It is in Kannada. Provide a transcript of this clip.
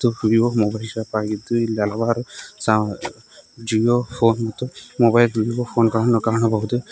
ವಿವೋ ಮೊಬೈಲ್ ಶಾಪ್ ಆಗಿದ್ದು ಇಲ್ಲಿ ಹಲವಾರು ಸಾ ಜಿಯೋ ಫೋನ್ ಮತ್ತು ಮೊಬೈಲ್ ವಿವೋ ಫೋನ್ ಗಳನ್ನು ಕಾಣಬಹುದು.